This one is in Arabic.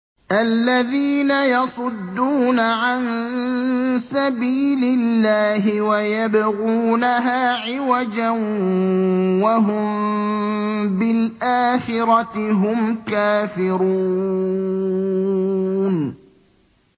الَّذِينَ يَصُدُّونَ عَن سَبِيلِ اللَّهِ وَيَبْغُونَهَا عِوَجًا وَهُم بِالْآخِرَةِ هُمْ كَافِرُونَ